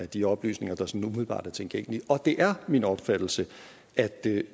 de oplysninger der sådan umiddelbart er tilgængelige det er min opfattelse at